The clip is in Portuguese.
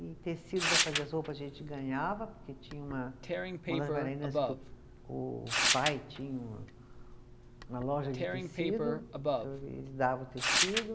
E tecido para fazer as roupas a gente ganhava, porque tinha uma uma das bailarinas que o o pai tinha uma, uma loja de tecido, então ele eles davam o tecido.